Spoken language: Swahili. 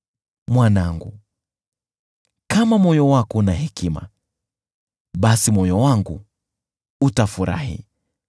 Mwanangu, kama moyo wako una hekima, basi moyo wangu utafurahi,